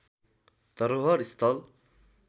धरोहर स्थल